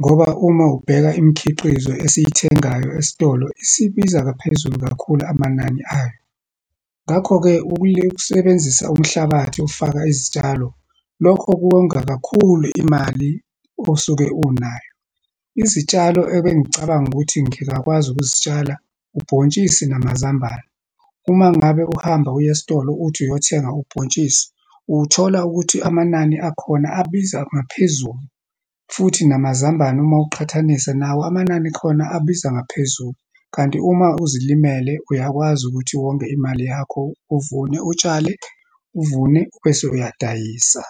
ngoba uma ubheka imikhiqizo esiyithengayo esitolo isibiza ngaphezulu kakhulu amanani ayo. Ngakho-ke, ukusebenzisa umhlabathi ofaka izitshalo, lokho kuwonga kakhulu imali osuke unayo. Izitshalo ebengicabanga ukuthi ngingakwazi ukuzitshala, ubhontshisi namazambane. Uma ngabe uhamba uya esitolo uthi uyothenga ubhontshisi, uwuthola ukuthi amanani akhona abiza ngaphezulu, futhi namazambane uma uqhathanisa, nawo amanani khona abiza ngaphezulu. Kanti uma uzilimele, uyakwazi ukuthi wonge imali yakho, uvune utshale, uvune bese uyadayisa.